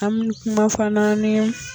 Ami kuma fana nin.